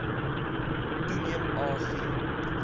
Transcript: toeneem a g